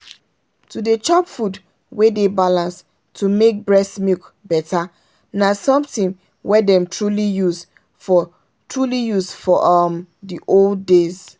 to dey chop food wey dey balance to make breast milk better na something wey dem truly use for truly use for um the old days.